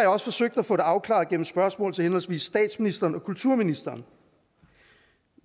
jeg også forsøgt at få det afklaret gennem spørgsmål til henholdsvis statsministeren og kulturministeren